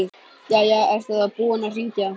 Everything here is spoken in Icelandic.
Jæja, ertu þá búinn að hringja.